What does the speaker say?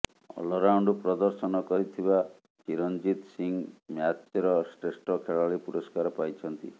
all-round ପ୍ରଦର୍ଶନ କରିଥିବା ଚିରଂଜିତ ସିଂହ ମ୍ୟାଚ୍ର ଶ୍ରେଷ୍ଠ ଖେଳାଳି ପୁରସ୍କାର ପାଇଛନ୍ତି